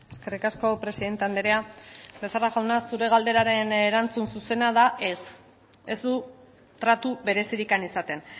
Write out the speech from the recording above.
eskerrik asko presidente andrea becerra jauna zure galderaren erantzun zuzena da ez ez du tratu berezirik izaten